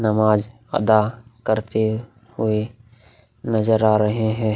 नमाज अदा करते हुए नजर आ रहे है।